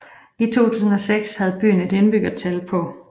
I 2006 havde byen et indbyggertal på